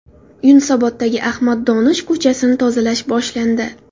Yunusoboddagi Ahmad Donish ko‘chasini tozalash boshlandi.